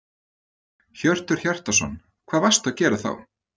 Hjörtur Hjartarson: Hvað varstu að gera þá?